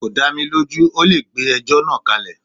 Kò dá mi lójú, ọ́ le gbé ẹjọ́ náà kálẹ̀.